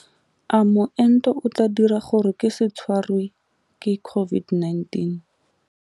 A moento o tla dira gore ke se tshwarwe ke COVID-19?